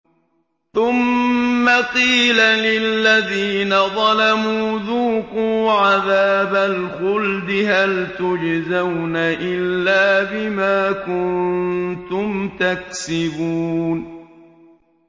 ثُمَّ قِيلَ لِلَّذِينَ ظَلَمُوا ذُوقُوا عَذَابَ الْخُلْدِ هَلْ تُجْزَوْنَ إِلَّا بِمَا كُنتُمْ تَكْسِبُونَ